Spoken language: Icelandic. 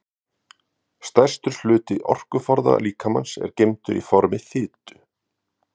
stærstur hluti orkuforða líkamans er geymdur í formi fitu